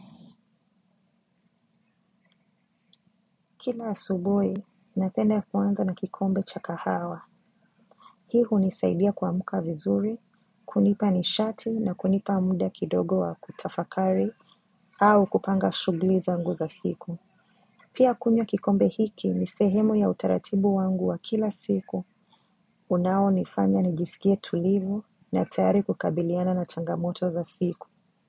Kila asubuhi napenda kuanza na kikombe cha kahawa. Hii hunisaidia kuamka vizuri kunipa nishati na kunipa muda kidogo wa kutafakari au kupanga shughli zangu za siku. Pia kunywa kikombe hiki ni sehemu ya utaratibu wangu wa kila siku. Unao nifanya nijisikie tulivu na tayari kukabiliana na changamoto za siku.